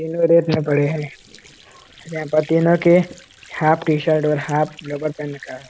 तीनों रेत में पड़े हैं। यहां पे तीनो के हाफ टी शर्ट और हाफ लोवर पहन रखा है।